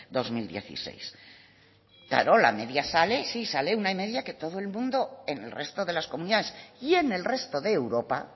dos mil dieciséis claro la media sale sale una media que todo el mundo en el resto de las comunidades y en el resto de europa